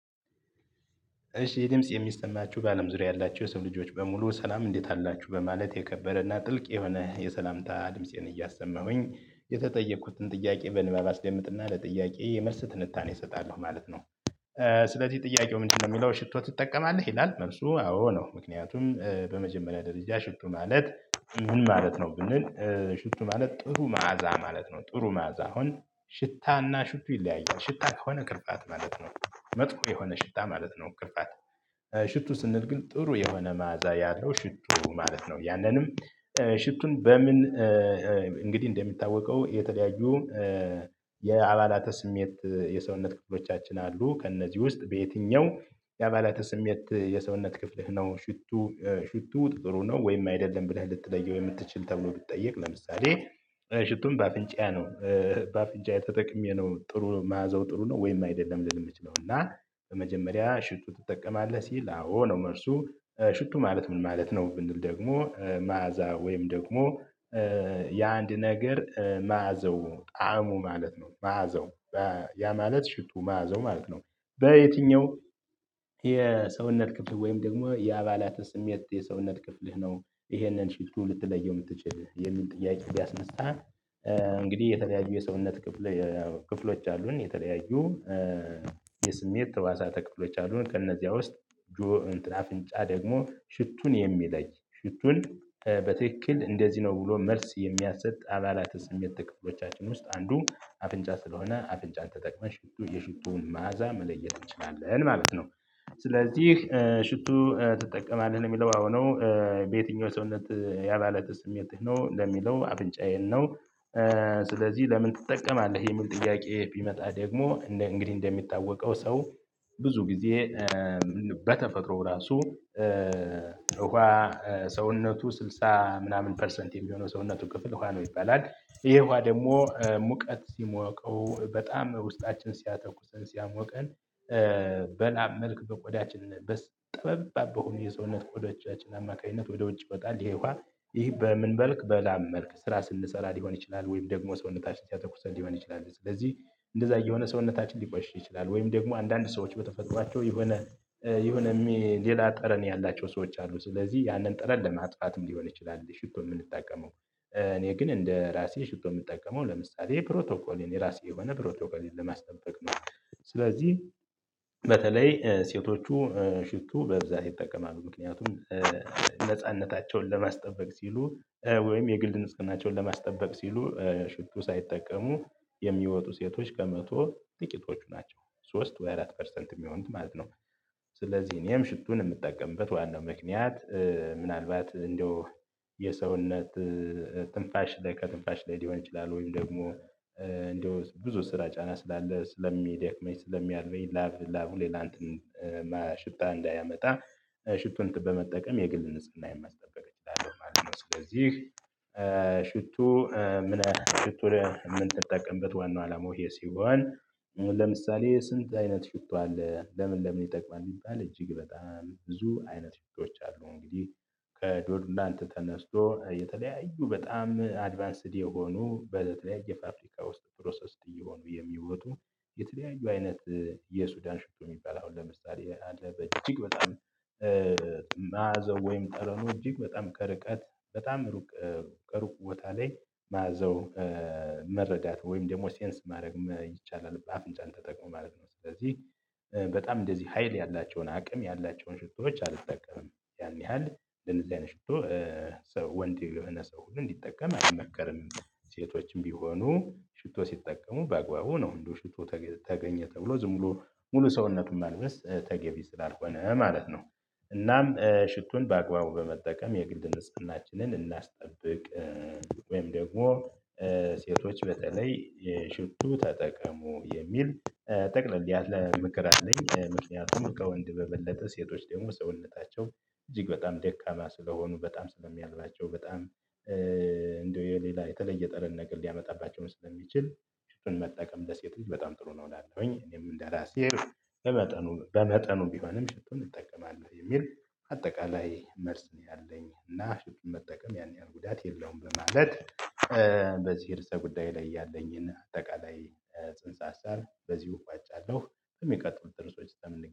እሺ ይህ ድምጽ የሚሰማችሁ በአለም ዙሪያ ያላችሁ የሰው ልጆች በሙሉ ሰላም እንዴት አላችሁ በማለት የከበረና ጥልቅ የሆነ የሰላምታ ድምፄን እያሰማሁኝ የተጠየኩትን ጥያቄ በንባብ አስደምጥና ለጥያቄ የመልስ ትንታኔ እሰጣለሁ ማለት ነው። ስለዚህ ጥያቄው ምንድነው እሚለው ሽቶት ትጠቀማልህ ይላል መልሱ አዎ ነው። ምክንያቱም በመጀመሪያ ደረጃ ሽቶ ማለት ምን ማለት ነው? ብንል ሽቶ ማለት ጥሩ መዓዛ ማለት ነው። ጥሩ ማዛ አሁን ሽታና ሽቱ ይለያያል ሽታ ከሆነ ክርፋት ማለት ነው መጥፎ የሆነ ሽታ ማለት ነው። ክርፋት። ሽቱ ስንል ግን ጥሩ የሆነ መዓዛ ያለው ሽቱ ማለት ነው። ያንንም ሽቱን በምን እንግዲህ እንደሚታወቀው የተለያዩ የአባላተ ስሜት የሰውነት ክፍሎቻችን አሉ ከእነዚህ ውስጥ በየትኛው የአባላተ ስሜት የሰውነት ክፍልህ ነው? ሽቱ ጥሩ ነው ወይም አይደለም ብለህ ልትለየው የምትችል ተብሎ ቢጠየቅ። ለምሳሌ ሽቱን በአፍንጫአ ነው። በአፍንጫኤ ተጠቅሜ ነው ጥሩ መዓዛው ጥሩ ነው። ወይም አይደለም ልል እምችለው እና በመጀመሪያ ሽቶ ትጠቀማለህ ሲል አዎ ነው። መልሱ ሽቱ ማለት ምን ማለት ነው ብንል ደግሞ መዓዛ ወይም ደግሞ የአንድ ነገር መዓዘው ጣዕሙ ማለት ነው። መዓዘው ያ ማለት ሽቱ መዓዛው ማለት ነው። በየትኛው የሰውነት ክፍል ወይም ደግሞ የአባላተ ስሜት የሰውነት ክፍል ነው ይሄንን ሽቶ ልትለየው እምትችል የሚል ጥያቄ ቢያስነሳ። እንግዲህ የተለያዩ የሰውነት ክፍል ክፍሎች አሉን የተለያዩ የስሜት ህዋሳተ ክፍሎች አሉን። ከእነዚያ ውስጥ ጆ እንትን አፍንጫ ደግሞ ሽቱን የሚለይ ሽቱን በትክክል እንደዚህ ነው ብሎ መልስ የሚያስጥ አባላተ ስሜት ክፍሎቻችን ውስጥ አንዱ አፍንጫ ስለሆነ አፍንጫን ተጠቅመሽ ሽቱ የሽቱን መዓዛ መለየት እንችላለን ማለት ነው። ስለዚህ ሽቱ ትጠቀማለህ እሚለው አዎ ነው። በየትኛው ሰውነት ያባለተ ስሜትህ ነው ለሚለው አፍንጫዬን ነው። ስለዚህ ለምን ትጠቀማለህ የሚል ጥያቄ ቢመጣ ደግሞ እንግዲህ እንደሚታወቀው ሰው ብዙ ጊዜ በተፈጥሮ ራሱ እውሃ ሰውነቱ 60 ምናምን ፐርሰንት የሚሆነው ሰውነቱ ክፍል ውሃ ነው ይባላል። ይሄ ውሃ ደሞ ሙቀት ሲሞቀው በጣም ውስጣችን ሲያተኩስን ሲያሞቀን በላብ መልክ በቆዳችን ጠበብ አርጎ የሰውነት ቆዳዎቻችን አማካኝነት ወደ ውጭ ይወጣል። ይሄ ውሃ ይህ በምን በልክ በላብ መልክ ስራ ስንሰራ ሊሆን ይችላል። ወይም ደግሞ ሰውነታችን ሲያተኩሰን ሊሆን ይችላል። ስለዚህ እንደዛ እየሆነ ሰውነታችን ሊቆሽሽ ይችላል ወይም ደግሞ አንዳንድ ሰዎች በተፈጥሯቸው የሆነ የሆነ ሌላ ጠረን ያላቸው ሰዎች አሉ። ስለዚህ ያንን ጠረን ለማጥፋትም ሊሆን ይችላል ሽቶ እምንጠቀመው። እኔ ግን እንደ ራሴ ሽቶ እምጠቀመው ለምሳሌ ፕሮቶኮል እኔ ራሴ የሆነ ፕሮቶኮልን ለማስጠበቅ ነው። ስለዚህ በተለይ ሴቶቹ ሽቱ በብዛት ይጠቀማሉ ምክንያቱም ነጻነታቸውን ለማስጠበቅ ሲሉ ወይም የግል ንጽህናቸውን ለማስጠበቅ ሲሉ ሽቱ ሳይጠቀሙ የሚወጡ ሴቶች ከመቶ ጥቂቶቹ ናቸው። ሶስት ወይ አራት ፐርሰንት እሚሆኑት ማለት ነው። ስለዚህ እኔም ሽቱን እምጠቀምበት ዋናው ምክንያት ምናልባት እንደው የሰውነት ትንፋሽ ላይ ከትንፋሽ ላይ ሊሆን ይችላል ወይም ደግሞ እንደው ብዙ ስራ ጫና ስላለ ስለሚደክመኝ ስለሚያልበኝ ላቭ ላቡን ለንትን ሽታ እንዳያመጣ ሽቶን በመጠቀም የግል ንጽህና ማስጠበቅ እችላለሁ ማለት ነው። ስለዚህ ሽቶ ምን ሽቶ ምን ጠቀምበት ዋናው አላማው ይሄ ሲሆን። ለምሳሌ ስንት አይነት ሽቶ አለ? ለምን ለምን ይጠቅማል? ቢባል እጅግ በጣም ብዙ አይነት ልጆች አሉ። እንግዲህ ከዶድ እንትን ተነስቶ የተለያዩ በጣም አድቫንስድ የሆኑ በተለያየ ፋብሪካ ውስጥ ፕሮሰስድ እየሆኑ የሚወጡ የተለያዩ አይነት የሱዳን ሽቶ እሚባል አሁን ለምሳሌ አለ በእጅግ በጣም ማአዛው ወይም ጠረኑ እጅግ በጣም ከርቀት በጣም ሩቅ ከሩቅ ቦታ ላይ መዓዛው መረዳት ወይም ደግሞ ሴንስ ማድረግ ይቻላል። በአፍንጫን ተጠቅሞ ማለት ነው። ስለዚህ በጣም እንደዚህ ሀይል ያላቸውን አቅም ያላቸውን ሽቶዎች አልተጠቀምም ያህል ለነዚህ አይነት ሽቶ ሰው ወንድ የሆነ ሰው ግን እንዲጠቀም አይመከርም። ሴቶችም ቢሆኑ ሽቶ ሲጠቀሙ በአግባቡ ነው እንደው ሽቶ ተገኘ ተብሎ ዝም ብሎ ሙሉ ሰውነቱን ማልበስ ተገቢ ስላልሆነ ማለት ነው። እናም ሽቶን በአግባቡ በመጠቀም የግል ንፀሃናችንን እናስጠብቅ። ወይም ደግሞ ሴቶች በተለይ የሽቱ ተጠቀሙ የሚል ጠቅለል ያለ ምክር አለኝ። ምክንያቱም ከወንድ በበለጠ ሴቶች ደግሞ ሰውነታቸው እጅግ በጣም ደካማ ስለሆኑ በጣም ስለሚያልባቸው በጣም እንደው የሌላ የተለየ ጠርን ነገር ሊያመጣባቸው ስለሚችል መጠቀም ለሴት በጣም ጥሩ ነው። እላለኹኝ እኔም እንደራሴ በመጠኑ በመጠኑ ቢሆንም ሽቶን እንጠቀማለሁ የሚል አጠቃላይ መልስ ነው። ያለኝ እና ሽቶን መጠቀም ያን ያህል ጉዳት የለውም በማለት በዚህ ርዕሰ ጉዳይ ላይ ያለኝን አጠቃላይ ጽንሰ ሀሳብ በዚሁ እቋጫለሁ። በሚቀጥሉ ጥርሶች እስከምንገናኝ